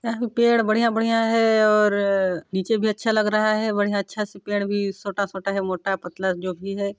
यहाँ पे पेड़ बढ़िया-बढ़िया है और नीचे भी अच्छा लग रहा है बढ़िया अच्छा सा पेड़ भी छोटा-छोटा है मोटा पतला जो भी है।